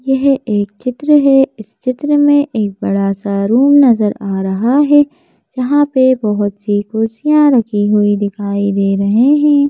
यह एक चित्र है इस चित्र में एक बड़ा सा रूम नजर आ रहा है यहां पे बहुत सी कुर्सियां रखी हुई दिखाई दे रही है।